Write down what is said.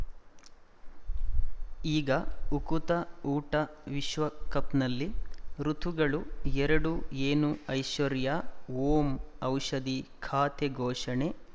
ಈಗ ಉಕುತ ಊಟ ವಿಶ್ವಕಪ್‌ನಲ್ಲಿ ಋತುಗಳು ಎರಡು ಏನು ಐಶ್ವರ್ಯಾ ಓಂ ಔಷಧಿ ಖಾತೆ ಘೋಷಣೆ